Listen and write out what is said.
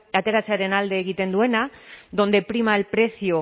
ateratzearen alde egiten duena donde prima el precio